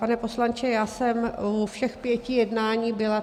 Pane poslanče, já jsem u všech pěti jednání byla.